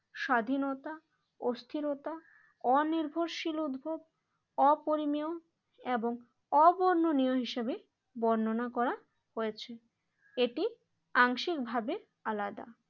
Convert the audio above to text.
স্বাধীনতা অস্থিরতা অনির্ভরশীল উদ্ভব এবং অপরিমেয় এবং অবর্ণনীয় হিসেবে বর্ণনা করা হয়েছে এটি আংশিকভাবে আলাদা।